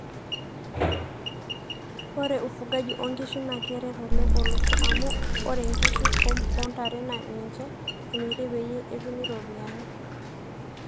ore ufugaji oo nkishu naa keret oleng olosho amu ore nkishu o ntare naa ninche emiri peyie etumi ropiyani